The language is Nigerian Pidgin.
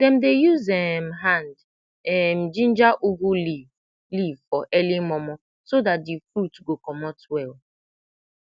dem dey use um hand um ginger ugu leave leave for early momo so dat de fruit go comot well